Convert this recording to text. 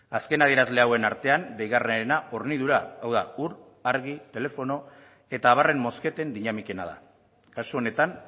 azken adierazle hauen artean deigarriena hornidura hau da ur argi telefono eta abarren mozketen dinamikena dira kasu honetan